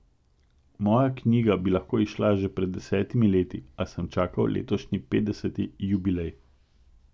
Moja knjiga bi lahko izšla že pred desetimi leti, a sem čakal letošnji petdeseti jubilej.